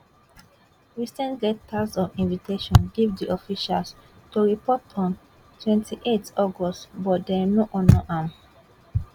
we send letters of invitation give di officials to report on 28th august but dem no honour am